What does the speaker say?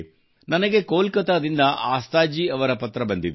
ನನಗೆ ಕೋಲ್ಕತ್ತಾದಿಂದ ಆಸ್ತಾಜಿಯವರ ಪತ್ರ ಬಂದಿದೆ